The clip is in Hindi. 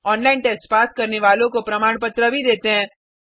ऑनलाइन टेस्ट पास करने वालों को प्रमाण पत्र भी देते हैं